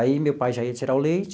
Aí, meu pai já ia tirar o leite.